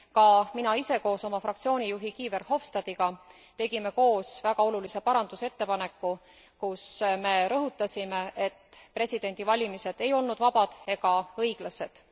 Ka mina ise koos oma fraktsiooni juhi Guy Verhofstadtiga tegime koos väga olulise muudatusettepaneku, kus me rõhutasime, et presidendivalimised ei olnud vabad ega õiglased.